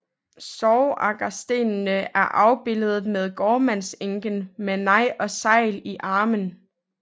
Sorgagerstenen er afbilledet med gårdmandsenken med neg og segl i armen